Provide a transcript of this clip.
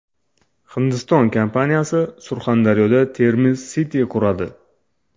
Hindiston kompaniyasi Surxondaryoda Termiz City quradi .